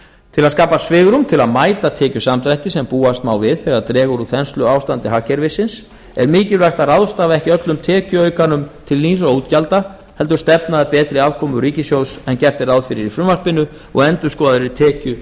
til að skapa svigrúm til að mæta tekjusamdrætti sem búast má við þegar dregur úr þensluástandi hagkerfisins er mikilvægt að ráðstafa ekki öllum tekjuaukanum til nýrra útgjalda heldur stefna að betri afkomu ríkissjóðs en gert er ráð fyrir í frumvarpinu og endurskoðaðri tekju og